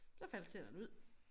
Så falder tænderne ud